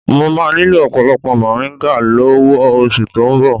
Mo máa nílò ọ̀pọ̀lọpọ̀ moringa lọ́wọ́ oṣù tó ń bọ̀